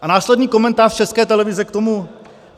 A následný komentář České televize k tomu?